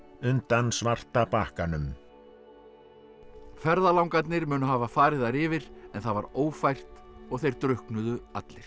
undan svarta bakkanum ferðalangarnir munu hafa farið þar yfir en það var ófært og þeir drukknuðu allir